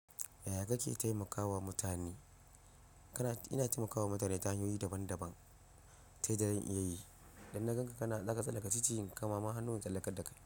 Yaya kake taimakawa mutane? Ina taimakawa mutane ta hanyoyi daban-daban, ta yanda zan iya yi, idan na gan ka zaka tsallaka ciki, in kamama hannu in tsallakar da kai.